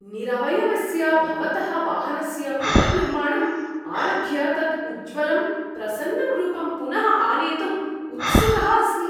निरवयवस्य भवतः वाहनस्य पुनर्निर्माणम् आरभ्य तत् उज्ज्वलं, प्रसन्नं रूपं पुनः आनेतुं उत्सुकः अस्मि।